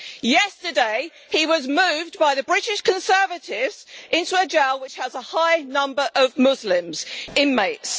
Yesterday, he was moved by the British Conservatives into a jail which has a high number of Muslim inmates.